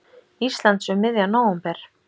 Íslands um miðjan nóvember.